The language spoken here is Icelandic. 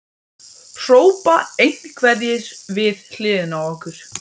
hrópa einhverjir við hliðina á okkur.